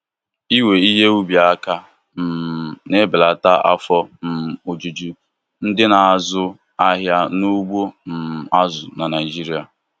Iwe ihe ubi aka um na-ebelata afọ um ojuju ndị na-azụ ahịa n'ugbo um azụ na Naijiria.